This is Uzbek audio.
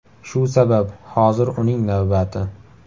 Shu sabab hozir uning navbati.